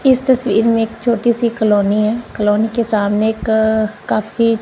इस तस्वीर में एक छोटी सी कॉलोनी है कॉलोनी के सामने एक अ काफी--